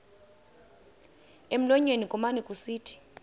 emlonyeni kumane kusithi